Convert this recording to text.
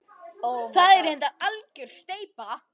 Þetta er reyndar algjör steypa.